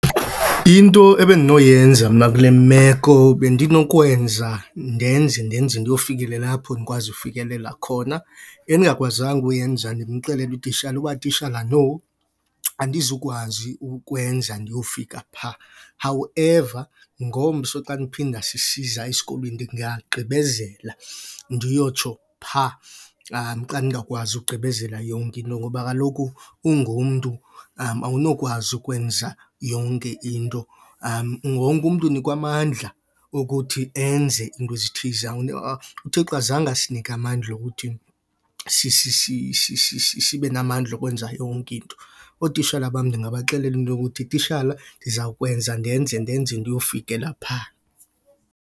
Into ebendinoyenza mna kule meko bendinokwenza ndenze, ndenze ndiyofikelela apho ndikwazi ukufikelela khona. Endingakwazanga uyenza ndimxelele utishala uba, tishala no, andizukwazi ukukwenza ndiyofika phaa. However, ngomso xa ndiphinda sisiza esikolweni ndingagqibezela ndiyotsho phaa xa ndingakwazi ugqibezela yonke into ngoba kaloku ungumntu awunokwazi ukwenza yonke into. Wonke umntu unikwa amandla okuthi enze into ezithize. UThixo azange asinike amandla okuthi sibe namandla okwenza yonke into. Ootishala bam ndingabaxelela into yokuthi, tishala ndiza kwenza, ndenze, ndenze ndiyofikela phaa.